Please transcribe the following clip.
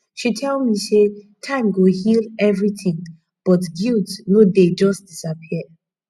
she tell me sey time go heal everytin but guilt no dey just disappear